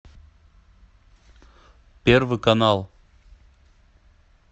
первый канал